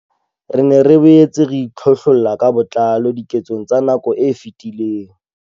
Re ne re boetse re itlhohlolla ka botlalo diketsong tsa nako e fetileng.